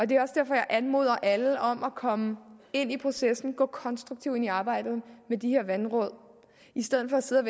det er også derfor jeg anmoder alle om at komme ind i processen at gå konstruktivt ind i arbejdet med de her vandråd i stedet for sidde